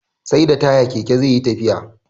SAi da taya Keke zeyi tafiya